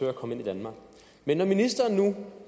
at komme ind i danmark men når ministeren nu